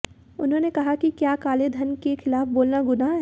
उन्होंने कहा कि क्या काले धन के खिलाफ बोलना गुनाह है